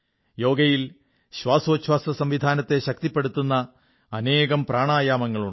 യോഗയിൽ ശ്വാസോച്ഛ്വാസസംവിധാനത്തെ ശക്തിപ്പെടുത്തുന്ന അനേകം പ്രാണായാമങ്ങളുണ്ട്